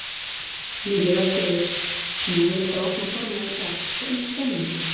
Lillý Valgerður: Nú eru þið að opna formlega í dag, hvernig er stemningin?